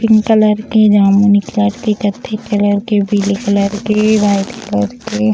pink colour के जामुनी colour के कत्थे कलर के पीले कलर के वाइट कलर के --